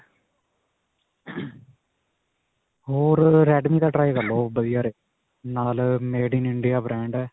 ਹੋਰ ਅਅ redme ਦਾ try ਕਰ ਲਵੋ. ਓਹ , ਨਾਲ ਅਅ made in india brand ਹੈ.